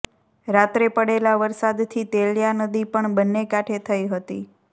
રાત્રે પડેલા વરસાદથી તેલિયા નદી પણ બંને કાંઠે થઈ હતી